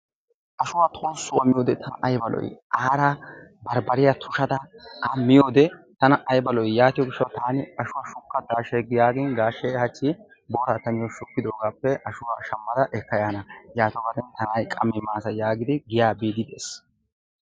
Ashuwa tolssuwa miyode tana ayba lo'ii? Aarakka barbbarya tushada miyode ayba lo'ii! Hegaa gishshawu taani ashuwa shukka gaashshee yaagiini, gaashshee ta niyo hachchi booraa ta niyo shukkidoogaappe ashuwa shammada ekka yaana yatoobare ta na'ay qammi maasa yaagidi giyaa biiddi de'ees.